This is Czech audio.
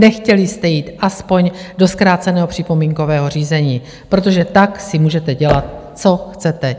Nechtěli jste jít aspoň do zkráceného připomínkového řízení, protože tak si můžete dělat, co chcete.